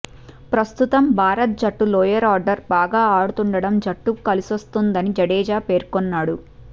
ప్రస్తుతం భారత జట్టు లోయర్ ఆర్డర్ బాగా ఆడుతుండటం జట్టుకు కలిసొస్తుందని జడేజా పేర్కొన్నాడు